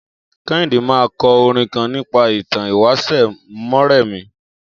Kẹ́híndé ma kọ orin kan nípa ìtàn ìwáṣẹ̀ Mọ́rẹmí.